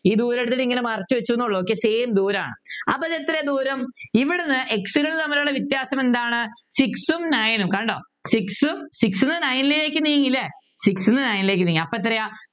ഈ ദൂരം എടുത്തിട്ട് ഇങ്ങനെ മറച്ചുവെച്ചു എന്നേയുള്ളൂ ഒക്കെ Same ദൂരമാണ് അപ്പോൾ എത്ര ദൂരം ഇവിടെ നിന്ന് X കള് തമ്മിലുള്ള വ്യത്യാസം എന്താണ് Six ഉം Nine ഉം കണ്ടോ Six ൽ നിന്ന് Nine ലേക്ക് നീങ്ങി അല്ലേ Six നിന്ന് Nine ലേക്ക് നീങ്ങി അപ്പോൾ എത്രയാ